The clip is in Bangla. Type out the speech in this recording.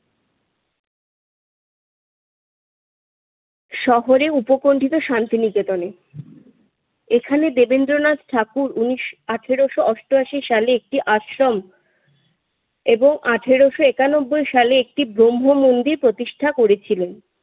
শহরে উপকণ্ঠিত শান্তিনিকেতনে। এখানে দেবেন্দ্রনাথ ঠাকুর উনিশ আঠারোশ অষ্টআশি সালে একটি আশ্রম এবং আঠারোশ একানব্বই সালে একটি ব্রহ্মমন্দির প্রতিষ্ঠা করেছিলেন।